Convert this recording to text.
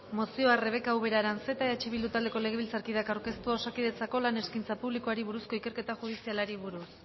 mozioa rebeka ubera aranzeta eh bildu taldeko legebiltzarkideak aurkeztua osakidetzako lan eskaintza publikoari buruzko ikerketa judizialari buruz